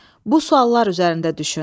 Bu suallar üzərində düşün.